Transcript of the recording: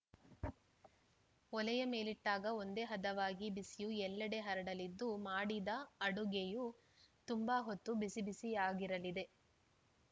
ಒಲೆಯ ಮೇಲಿಟ್ಟಾಗ ಒಂದೇ ಹದವಾಗಿ ಬಿಸಿಯು ಎಲ್ಲೆಡೆ ಹರಡಲಿದ್ದು ಮಾಡಿದ ಅಡುಗೆಯು ತುಂಬಾ ಹೊತ್ತು ಬಿಸಿಬಿಸಿಯಾಗಿರಲಿದೆ